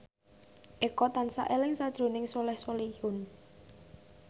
Eko tansah eling sakjroning Soleh Solihun